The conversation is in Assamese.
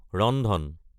ৰন্ধন